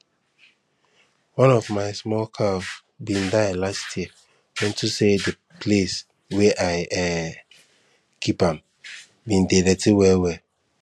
one of my small cow been die last year unto say the place wey i um keep am been dey dirty well well